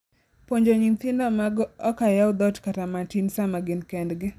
puonjo nyithindo magOk ayaw dhoot kata matin sama gin ot kendgi